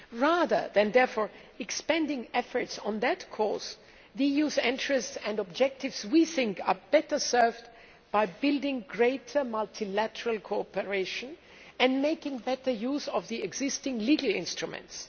Rather than expending efforts on that cause, the EU's interests and objectives are better served by building greater multilateral cooperation and making better use of the existing legal instruments.